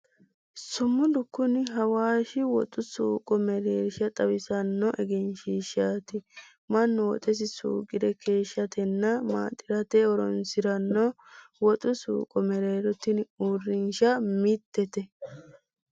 Sumudu kuni Awaashi woxu suuqo mereersha xawissanno egensiishshaati. Mannu woxesi suuqere keeshshatenna maaxirate horoonsiranno woxu suuqo mereero tini uurrinsha mittete.